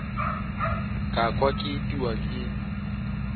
ka kwa ke itiwa ke